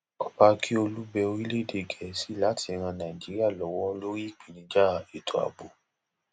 ọba akiolu bẹ orílẹèdè gẹẹsì láti ran nàìjíríà lọwọ lórí ìpèníjà ètò ààbò